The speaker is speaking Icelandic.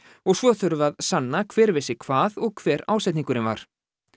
og svo þurfi að sanna hver vissi hvað og hver ásetningurinn var